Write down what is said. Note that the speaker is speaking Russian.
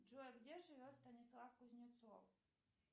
джой а где живет станислав кузнецов